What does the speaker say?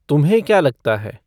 तुम्हे क्या लगता है